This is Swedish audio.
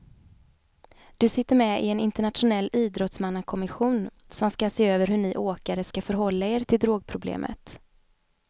Du sitter med i en internationell idrottsmannakommission som ska se över hur ni åkare ska förhålla er till drogproblemet.